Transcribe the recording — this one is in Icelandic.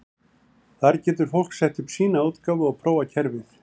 Þar getur fólk sett upp sína útgáfu og prófað kerfið.